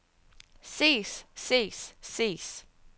ses ses ses